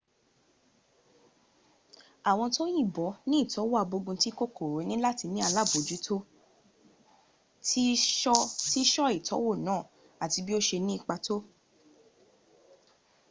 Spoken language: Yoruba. àwọn tó yìnbọ ní ìtọ́wò àgbóguntí kòkòrò ní láti ní alábòjútó bí ṣọ́ ìtọ́wò náà àti bí ó ṣe ní ipa tọ́